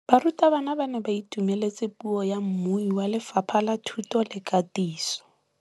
Barutabana ba ne ba itumeletse puô ya mmui wa Lefapha la Thuto le Katiso.